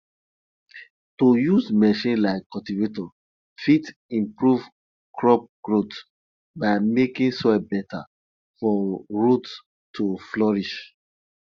to use machine like cultivator fit improve crop growth by making soil better for roots to flourish